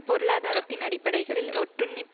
பொருளாதாரத்தின் அடிப்படைகளில் ஒட்டுண்ணி